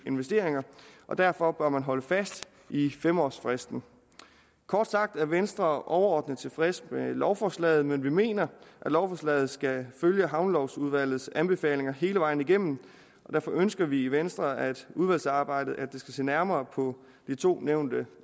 investeringer og derfor bør man holde fast i fem års fristen kort sagt er venstre overordnet tilfredse med lovforslaget men vi mener at lovforslaget skal følge havnelovudvalgets anbefalinger hele vejen igennem og derfor ønsker vi i venstre at udvalgsarbejdet skal se nærmere på de to nævnte